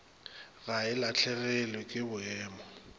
ga e lahlegelwe ke boemo